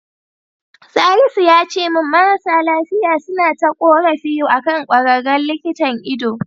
Salisu yace min marasa lafiya suna ta ƙorafi akan ƙwararren likitan ido.